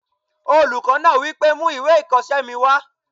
Olùkọ́ náà wí pé "mú ìwé ìkọsẹ́ mi wá!"